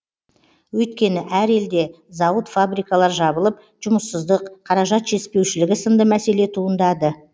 өйткені әр елде зауыт фабрикалар жабылып жұмыссыздық қаражат жетіспеушілігі сынды мәселе туындады